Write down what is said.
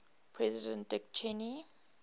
president dick cheney